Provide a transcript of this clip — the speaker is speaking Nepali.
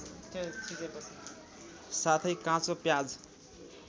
साथै काँचो प्याज